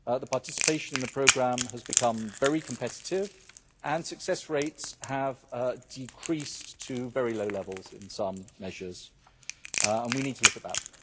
Participation in the programme has become very competitive and success rates have decreased to very low levels in some measures, and we need to look at that.